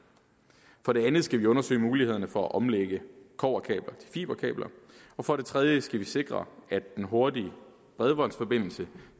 for det andet skal vi undersøge muligheden for at omlægge kobberkabler til fiberkabler for det tredje skal vi sikre at den hurtige bredbåndsforbindelse